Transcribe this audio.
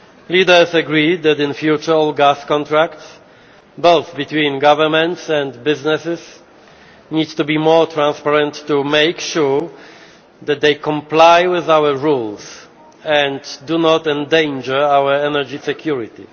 Leaders agreed that in future all gas contracts, both between governments and businesses, need to be more transparent to make sure that they comply with our rules and do not endanger our energy security.